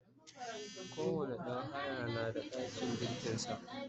kowani ɗan haya na da ɗakin girkin sa